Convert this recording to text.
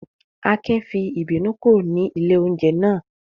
Akin fi ìbínú kúrò ní ilé-oúnjẹ náà?